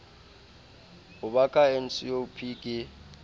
ho ba ka ncop ke